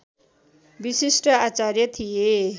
विशिष्ट आचार्य थिए